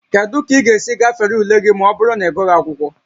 Kedu ka ị ga-esi gafere ule gị ma ọ bụrụ na ịgụghị akwụkwọ gị?